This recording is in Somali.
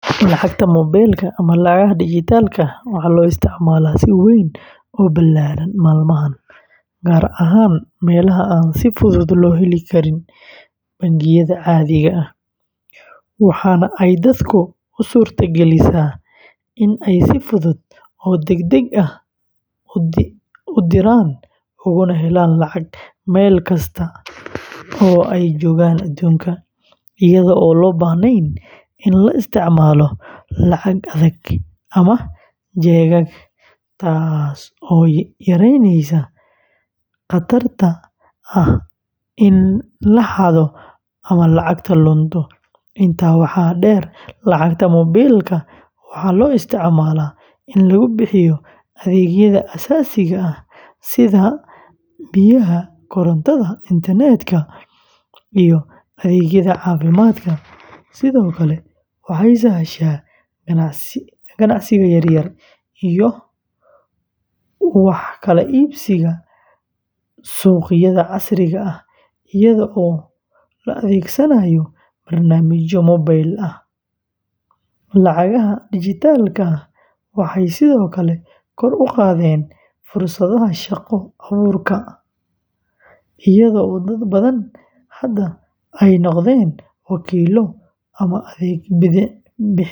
Lacagta moobilka ama lacagaha dijitaalka ah waxaa loo isticmaalaa si weyn oo ballaaran maalmahan, gaar ahaan meelaha aan si fudud loo heli karin bangiyada caadiga ah, waxaana ay dadka u suurtagelisaa in ay si fudud oo degdeg ah u diraan ugana helaan lacag meel kasta oo ay joogaan aduunka, iyadoo aan loo baahnayn in la isticmaalo lacag adag ama jeegag, taas oo yareynaysa khatarta ah in la xado ama lacagta lunto. Intaa waxaa dheer, lacagta moobilka waxaa loo isticmaalaa in lagu bixiyo adeegyada aasaasiga ah sida biyaha, korontada, internet-ka, iyo adeegyada caafimaadka, sidoo kale waxay sahashaa ganacsiga yar-yar iyo wax kala iibsiga suuqyada casriga ah, iyadoo la adeegsanayo barnaamijyo mobile ah. Lacagaha dijitaalka ah waxay sidoo kale kor u qaadeen fursadaha shaqo abuurka iyadoo dad badani hadda ay noqdeen wakiillo ama adeeg-bixiyeyaal.